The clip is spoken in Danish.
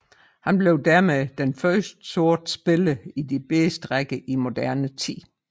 Han blev dermed den første sorte spiller i de bedste rækker i moderne tid